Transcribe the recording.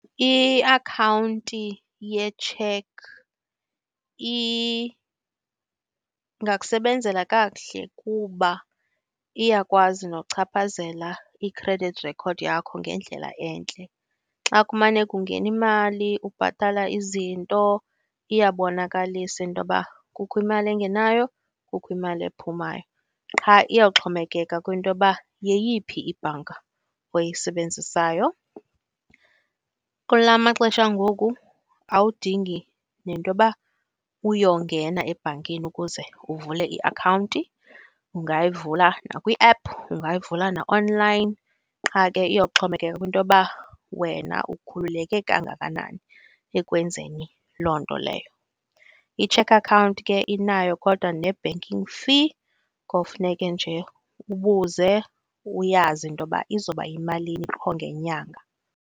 Iakhawunti yetsheki ingakusebenzela kakuhle kuba iyakwazi nochaphazela i-credit record yakho ngendlela entle. Xa kumane kungena imali, ubhatala izinto, iyabonkalisa into uba kukho imali engenayo, kukho imali ephumayo. Qha iyowuxhomekeka kwinto yoba yeyiphi ibhanka oyisebenzisayo. Kula maxesha ngoku awudingi nento yoba uyongena ebhankini ukuze uvule iakhawunti. Ungayivula nakwi-app, ungayivula na-online. Qha ke iyoxhomekeka kwinto yoba wena ukhululeke kangakanani ekwenzeni loo nto leyo. Itsheki akhawunti ke inayo kodwa ne-banking fee. Kofuneke nje ubuze, uyazi into yoba izawuba imalini qho ngenyanga.